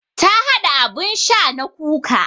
Ta haɗa abun sha na kuka